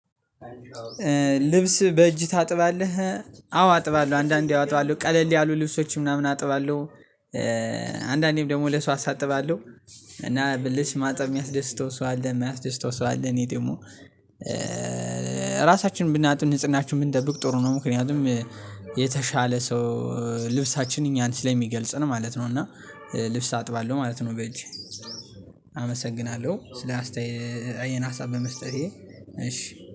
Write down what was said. ልብስ በእጅ ታጥባለህ? አዎ አጥባለሁ አንዳንዴ አጥባለሁ ቀለል ያሉ ልብሶች ምናምን አጥባለሁ አንዳንዴም ደግሞ ለሰው አሳጥባለሁ። እና ብልሽ ማጠብ የሚያስደስተው ሰው አለ የሚያስደስተው ሰው አለ። እኔ ደግሞ ራሳችን ብናጡ ንጽህናችን ብንጠብቅ ጥሩ ነው። ምክንያቱም የተሻለ ሰው ልብሳችንን ያን ስለሚገልጽ ነው ማለት ነው። እና ልብስ አጥባለሁ ማለት ነው። በጅ አመሰግናለሁ ስለ ይሄን ሀሳብ በመስጠቴ እሺ